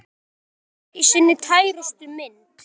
Ísland í sinni tærustu mynd.